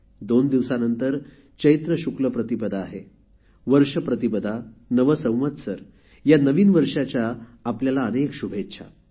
दोन दिवसानंतर चैत्र शुक्ल प्रतिपदा आहे वर्ष प्रतिपदा नव संवत्सर या नवीन वर्षाच्या आपल्याला शुभेच्छा